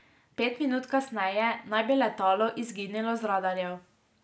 Pet minut kasneje naj bi letalo izginilo z radarjev.